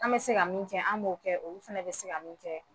An bɛ se ka min kɛ an b'o kɛ olu fana bɛ se ka min kɛ